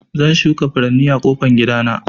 Zan shuka furanni a ƙofan gida na.